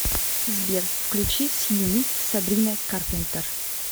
сбер включи сью ми сабрина карпентер